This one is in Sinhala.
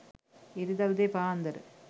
ඉරිදා උදේ පාන්දර